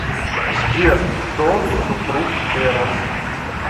сбер кто супруг эрос